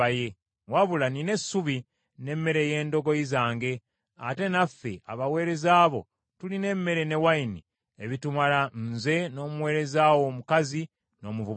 Wabula nnina essubi n’emmere ey’endogoyi zange, ate naffe abaweereza bo tulina emmere ne wayini ebitumala nze, n’omuweereza wo omukazi, n’omuvubuka.